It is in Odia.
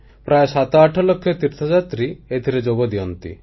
ପ୍ରାୟ 78 ଲକ୍ଷ ତୀର୍ଥଯାତ୍ରୀ ଏଥିରେ ଯୋଗଦିଅନ୍ତି